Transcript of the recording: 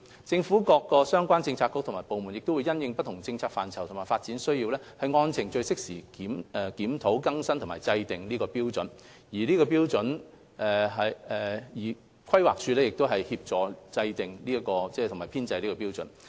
政府各相關政策局及部門會因應不同政策範疇及發展需要，按程序適時檢討、更新及制訂《規劃標準》，而規劃署則協助制訂及編製有關標準。